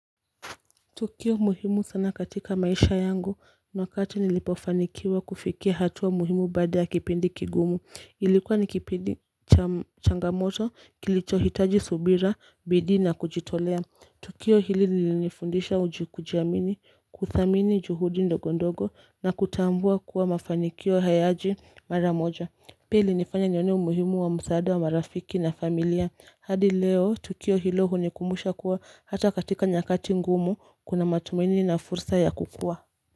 Tukio muhimu sana katika maisha yangu ni wakati nilipofanikiwa kufikia hatua muhimu baada ya kipindi kigumu ilikuwa ni kipindi changamoto kilichohitaji subira bidii na kujitolea Tukio hili lilinifundisha kujiamini kuthamini juhudi ndogo ndogo na kutambua kuwa mafanikio hayaji mara moja Pili ilinifanya nione umuhimu wa msaada wa marafiki na familia hadi leo tukio hilo hunikumbusha kuwa hata katika nyakati ngumu kuna matumaini na fursa ya kukua.